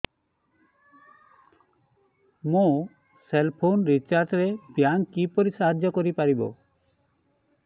ମୋ cell phone recharge ରେ bank କିପରି ସାହାଯ୍ୟ କରିପାରିବ